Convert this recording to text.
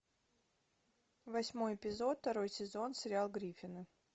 восьмой эпизод второй сезон сериал гриффины